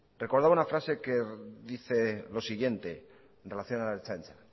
recordaba una frase que dice lo siguiente en relación a la ertzaintza